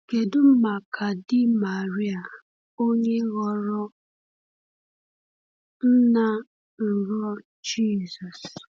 Kedu maka di Maria, onye ghọrọ nna nrọ Jizọs?